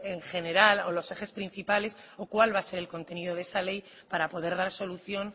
en general o los ejes principales o cuál va a ser el contenido de esa ley para poder dar solución